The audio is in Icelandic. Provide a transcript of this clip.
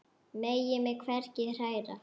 Megi mig hvergi hræra.